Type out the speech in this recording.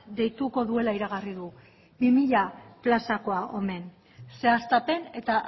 deituko duela iragarri du bi mila plazakoa omen zehaztapen eta